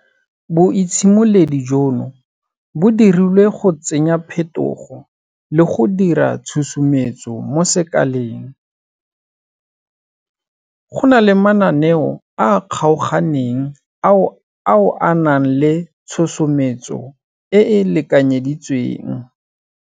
Boitshimoledi jono bo dirilwe go tsenya phetogo le go dira tshusumetso mo sekaleng, go na le mananeo a a kgaoganeng ao a nang le tshosometso e e lekanyeditsweng.